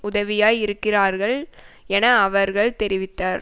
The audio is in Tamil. உதவியாய் இருக்கிறார்கள் என அவர்கள் தெரிவித்தார்